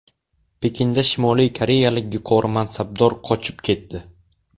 Pekinda Shimoliy koreyalik yuqori mansabdor qochib ketdi.